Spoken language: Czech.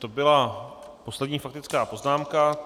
To byla poslední faktická poznámka.